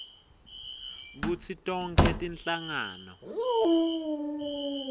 kutsi tonkhe tinhlangano